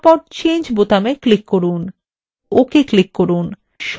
ok click করুন